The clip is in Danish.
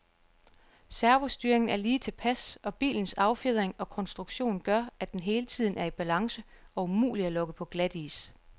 Servostyringen er lige tilpas, og bilens affjedring og konstruktion gør, at den hele tiden er i balance og umulig at lokke på glatis.